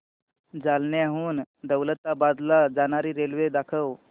जालन्याहून दौलताबाद ला जाणारी रेल्वे दाखव